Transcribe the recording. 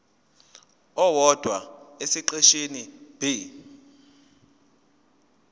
owodwa esiqeshini b